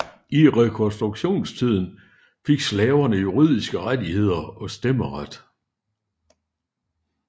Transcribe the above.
I Rekonstruktionstiden fik slaverne juridiske rettigheder og stemmeret